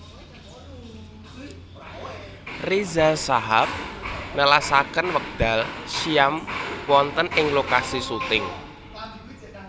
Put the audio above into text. Riza Shahab nelasaken wekdal siyam wonten ing lokasi syuting